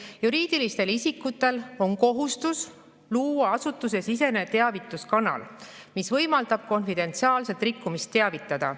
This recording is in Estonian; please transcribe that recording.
] juriidilistel isikutel on kohustus luua asutusesisene teavituskanal, mis võimaldab konfidentsiaalselt rikkumisest teavitada.